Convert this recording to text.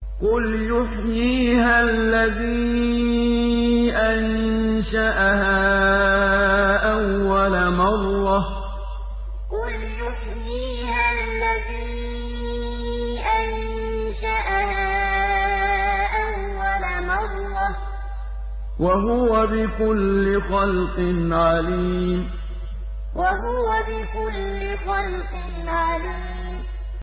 قُلْ يُحْيِيهَا الَّذِي أَنشَأَهَا أَوَّلَ مَرَّةٍ ۖ وَهُوَ بِكُلِّ خَلْقٍ عَلِيمٌ قُلْ يُحْيِيهَا الَّذِي أَنشَأَهَا أَوَّلَ مَرَّةٍ ۖ وَهُوَ بِكُلِّ خَلْقٍ عَلِيمٌ